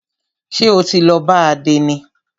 Ṣé o ti lọ bá àdénì?